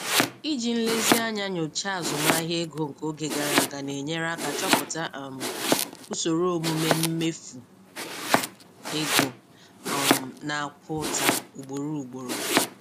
Iji nlezianya nyochaa azụmahịa ego nke oge gara aga na-enyere aka chọpụta um usoro omume mmefu ego um na-akwa ụta ugboro ugboro.